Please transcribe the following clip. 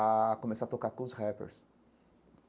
a começar a tocar com os rappers.